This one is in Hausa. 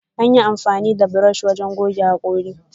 Anyi amfani da buroshi don gogge hakori.